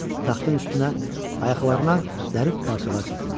Taxtın üstünə ayaqlarına zərif parçalar çəkilmişdi.